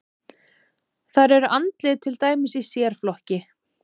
Þar eru andlit til dæmis í sérflokki.